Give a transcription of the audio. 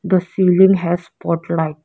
the ceiling has spot light.